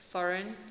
foreign